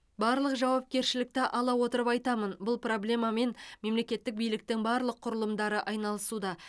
барлық жауапкершілікті ала отырып айтамын бұл проблемамен мемлекеттік биліктің барлық құрылымдары айналысуда